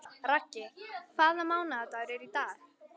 Raggi, hvaða mánaðardagur er í dag?